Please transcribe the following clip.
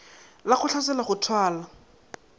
la go hlatsela go thwala